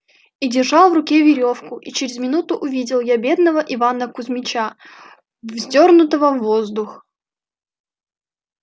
и держал в руке верёвку и через минуту увидел я бедного ивана кузмича вздёрнутого в воздух